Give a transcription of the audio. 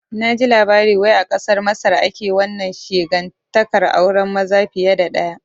Naji labari wai a kasar Masar ake wannan shegantaƙar auren maza fiye da ɗaya